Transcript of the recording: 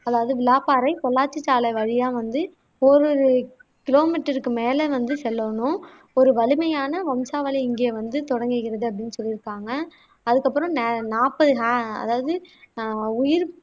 அதாவது பொள்ளாச்சி சாலை வழியா வந்து ஒரு ஒரு கிலோமீட்டருக்கு மேல வந்து செல்லணும் ஒரு வலிமையான வம்சாவளி இங்கே வந்து தொடங்குகிறது அப்படின்னு சொல்லியிருக்காங்க அதுக்கு அப்பறம் ந நாப்பது ஆஹ் அதாவது அஹ் உயிர்